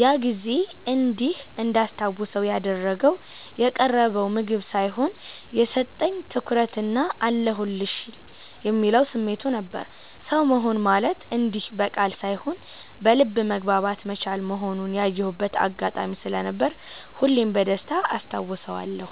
ያ ጊዜ እንዲህ እንዳስታውሰው ያደረገው የቀረበው ምግብ ሳይሆን፣ የሰጠኝ ትኩረትና "አለሁልሽ" የሚለው ስሜቱ ነበር። ሰው መሆን ማለት እንዲህ በቃል ሳይሆን በልብ መግባባት መቻል መሆኑን ያየሁበት አጋጣሚ ስለነበር ሁሌም በደስታ አስታውሰዋለሁ።